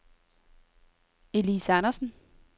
Elise Andersen